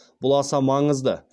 бұл аса маңызды